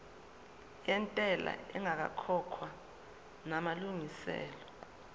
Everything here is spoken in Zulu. yentela ingakakhokhwa namalungiselo